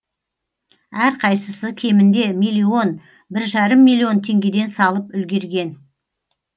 әрқайсысы кемінде миллион бір жарым миллион теңгеден салып үлгерген